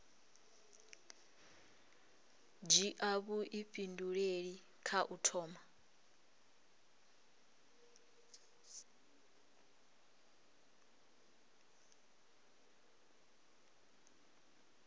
dzhia vhuifhinduleli kha u thoma